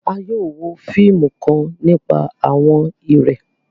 À yóò wo fiimù kan nipa àwọn ìrẹ̀